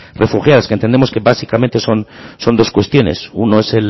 refugiadas que entendemos que básicamente son dos cuestiones uno es